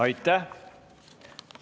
Aitäh!